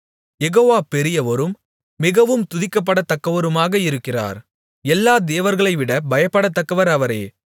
யெகோவா பெரியவரும் மிகவும் துதிக்கப்படத்தக்கவருமாக இருக்கிறார் எல்லா தேவர்களைவிட பயப்படத்தக்கவர் அவரே